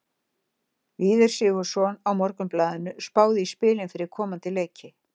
Víðir Sigurðsson á Morgunblaðinu spáði í spilin fyrir komandi leiki.